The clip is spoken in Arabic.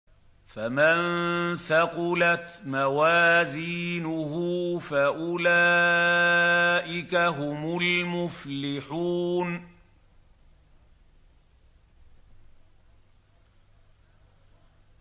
فَمَن ثَقُلَتْ مَوَازِينُهُ فَأُولَٰئِكَ هُمُ الْمُفْلِحُونَ